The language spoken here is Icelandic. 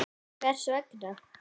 Hvers vegna?